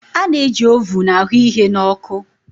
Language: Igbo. A na-eji ovun a hụ ihe na ọkụ.